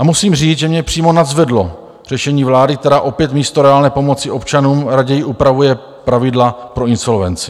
A musím říct, že mě přímo nadzvedlo řešení vlády, která opět místo reálné pomoci občanům raději upravuje pravidla pro insolvenci.